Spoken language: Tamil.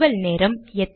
நிறுவல் நேரம்